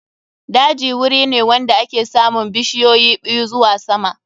Daji wuri ne wanda ake samun bishiyoyi ɓiyu zuwa sama.